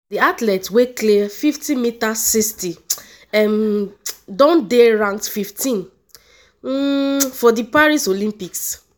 di athlete wey clear 5m60 um don dey ranked 15th um for di paris olympics.